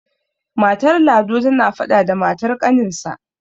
matar lado tana faɗa da matar ƙaninsa